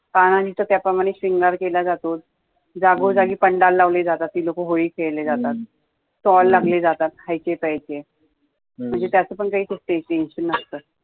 पाळराणी चा त्या प्रमाणॆ शॄंगार केल्या जातो, जागो जागी पंडाल लावल्या जातात ती लोकं होळी खॆळली जातात, stall लावल्या जातात खायचे प्यायचे म्हणजे त्याचे पण tension नसतं